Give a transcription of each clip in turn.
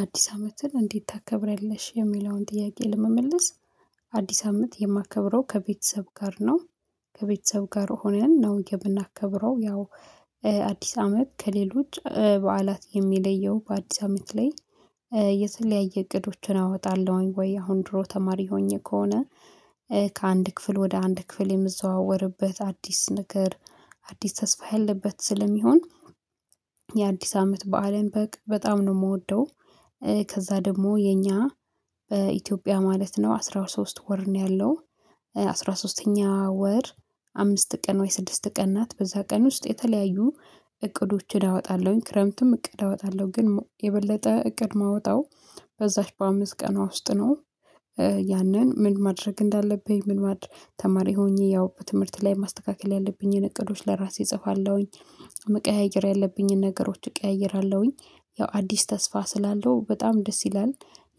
አዲስ አመትን እንዴት ታከብራለሽ የሚለውን ጥያቄ ለመመለስ አዲስ አመት የማከብረው ከቤተሰብ ጋር ነው። ከቤተሰብ ጋር ሆነን ነው የምናከብረው ያው አዲስ አመት ከሌሎች በዓላት የሚለየው በአዲስ አመት ላይ የተለያየ እቅዶችን አወጣለሁኝ ወይ አሁን ድሮ ተማሪ ሆኜ ከሆነ ከአንድ ክፍል ወደ አንድ ክፍል የምዘዋወርበት አዲስ ነገር አዲስ ተስፋ ያለበት ስለሚሆን የአዲስ አመት በዓልን በቅ በጣም ነው የምወደው። ከዛ ደግሞ የኛ በኢትዮጵያ ማለት ነው አስራ ሶስት ወር ነው ያለው አስራ ሶስተኛ ወር አምስት ቀን ወይ ስድስት ቀን ናት በዛ ቀን ውስጥ የተለያዩ እቅዶችን እወጣለሁኝ ክረምትም እቅድ አወጣለሁ ግን የበለጠ እቅድ ማውጣው በዛች በአምስት ቀኗ ውስጥ ነው። ያንን ምን ማድረግ እንዳለብኝ ምን ማድረግ ተማሪ ሆኜ ያው በትምህርት ላይ ማስተካከል ያለብኝን እቅዶች ለራሴ እጽፋለሁኝ መቀያየር ያለብኝን ነገሮች እቀያይራለሁኝ ያው አዲስ ተስፋ ስላለው በጣም ደስ ይላል።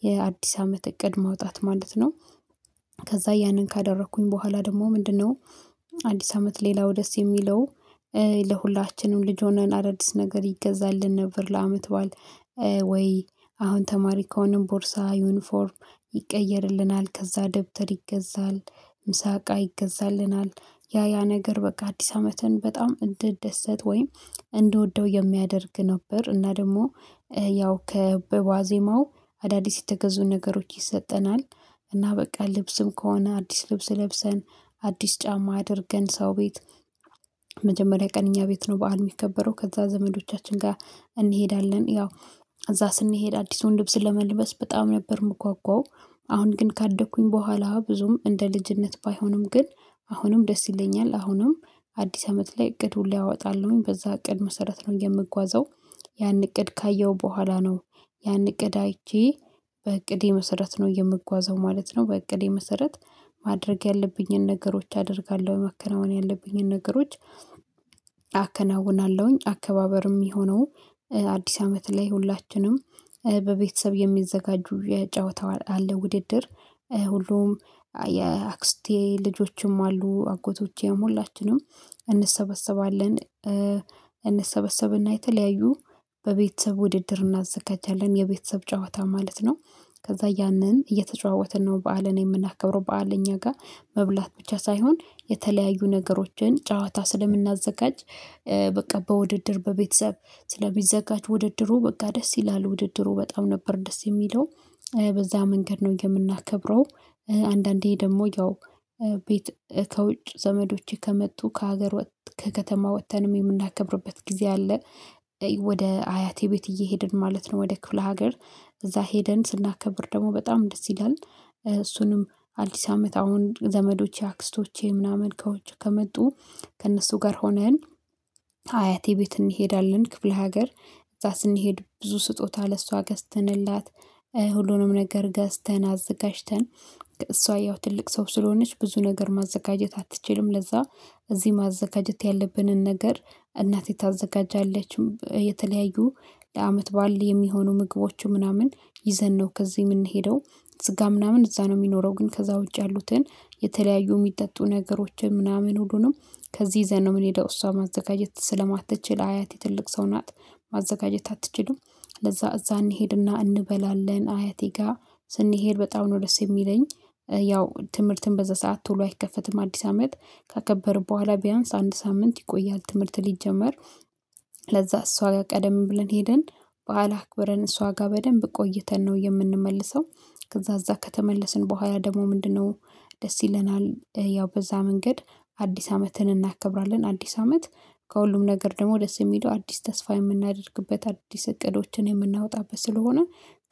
የአዲስ አመት እቅድ ማውጣት ማለት ነው። ከዛ ያንን ካደረኩኝ ቦኋላ ደግሞ ምንድነው? አዲስ አመት ሌላው ደስ የሚለው ለሁላችንም ልጅ ሆነን አዳዲስ ነገር ይገዛልን ነበር ለአመት ባዓል ወይ አሁን ተማሪ ከሆነም ቦርሳ ዩኒፎርም ይቀየርልናል ከዛ ደብተር ይገዛል ምሳቃ ይገዛልናል ያ ያ ነገር በቃ አዲስ አመትን በጣም እንደደሰት ወይም እንዲወደው የሚያደርግ ነበር እና ደግሞ ያው ከ በዋዜማው አዳዲስ የተገዙ ነገሮች ይሰጠናል እና በቃ ልብስም ከሆነ አዲስ ልብስ ለብሰን አዲስ ጫማ አድርገን ሰው ቤት መጀመሪያ ቀን አኛ ቤት ነው በዓል የሚከበረው ከዛ ዘመዶቻችን ጋር እንሄዳለን ያው እዛ ስንሄድ አዲሱን ልብስ ለመልበስ በጣም ነበር የምጓጓው። አሁን ግን ካደኩኝ ቦኋላ ብዙም እንደ ልጅነት ባይሆንም ግን አሁንም ደስ ይለኛል አሁንም አዲስ አመት ላይ እቅድ ሁሉ ያወጣልኝ በዛ እቅድ መሰረት ነው የምጓዘው ያን እቅድ ካየሁ በኋላ ነው ያን እቅድ አይቼ በእቅዴ መሰረት ነው የምጓዘው ማለት ነው በእቅዴ መሰረት ማድረግ ያለብኝን ነገሮች አደርጋለው መከናወን ያለብኝን ነገሮች አከናውናለሁኝ አከባበር የሚሆነው አዲስ አመት ላይ ሁላችንም በቤተሰብ የሚዘጋጁ የጨዋታው አለ ውድድር ሁሉም የአክስቴ ልጆችም አሉ አጎቶቼ ሁላችንም እንሰበሰባለን። እንሰበሰብና የተለያዩ በቤተሰብ ውድድር እናዘጋጃለን የቤተሰብ ጨዋታ ማለት ነው። ከዛ ያንን እየተጨዋወትን ነው በዓልን የምናከብረው በዓል እኛ ጋር መብላት ብቻ ሳይሆን የተለያዩ ነገሮችን ጨዋታ ስለምናዘጋጅ በቃ በውድድር በቤተሰብ ስለሚዘጋጅ ውድድሩ በቃ ደስ ይላል ውድድሩ በጣም ነበር ደስ የሚለው በዛ መንገድ ነው የምናከብረው አንዳንዴ ደግሞ ያው ቤት ከውጭ ዘመዶቼ ከመጡ ከሀገር ወጥ ከከተማ ወጥተንም የምናከብርበት ጊዜ አለ። ወደ አያቴ ቤት እየሄድን ማለት ነው ወደ ክፍለ ሀገር እዛ ሄደን ስናከብር ደግሞ በጣም ደስ ይላል እሱንም አዲስ አመት አሁን ዘመዶቼ አክስቶቼ ምናምን ከዉጭ ከመጡ ከእነሱ ጋር ሆነን ከአያቴ ቤት እንሄዳለን ክፍለ ሀገር እዛ ስንሄድ ብዙ ስጦታ ለሷ ገዝተንላት ሁሉንም ነገር ገዝተን አዘጋጅተን ከእሷ ያው ትልቅ ሰው ስለሆነች ብዙ ነገር ማዘጋጀት አትችልም ለዛ እዚህ ማዘጋጀት ያለብንን ነገር እናቴ ታዘጋጃለች የተለያዩ ለአመት ባል የሚሆኑ ምግቦች ምናምን ይዘን ነው ከዚህ የምንሄደው ስጋ ምናምን እዛ ነው የሚኖረው ግን ከዛ ውጪ ያሉትን የተለያዩ የሚጠጡ ነገሮችን ምናምን ሁሉንም ከዚህ ዘነው የምንሄደው እሷ ማዘጋጀት ስለማትችል አያት የትልቅ ሰው ናት ማዘጋጀት አትችልም። ለዛ እዛ እንሄድና እንበላለን አያቴ ጋር ስንሄድ በጣም ነው ደስ የሚለኝ ያው ትምህርትን በዛ ሰዓት ቶሎ አይከፈትም አዲስ አመት ከከበርን ቦኋላ ቢያንስ አንድ ሳምንት ይቆያል ትምህርት ሊጀመር ለዛ እሷ ጋር ቀደም ብለን ሄደን በዓል አክብረን እሷ ጋር በደንብ ቆይተን ነው የምንመልሰው። ከዛ እዛ ከተመለስን ቦኋላ ደግሞ ምንድነው ደስ ይለናል ያው በዛ መንገድ አዲስ አመትን እናከብራለን አዲስ አመት ከሁሉም ነገር ደግሞ ደስ የሚለው አዲስ ተስፋ የምናደርግበት አዲስ እቅዶችን የምናወጣበት ስለሆነ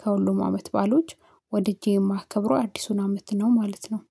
ከሁሉም አመት ባሎች ወድጄ የማከብረው አዲሱን አመት ነው ማለት ነው።